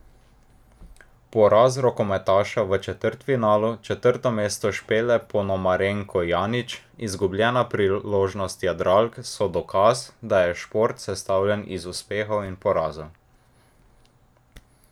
Poraz rokometašev v četrtfinalu, četrto mesto Špele Ponomarenko Janić, izgubljena priložnost jadralk so dokaz, da je šport sestavljen iz uspehov in porazov.